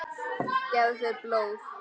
Gefðu blóð.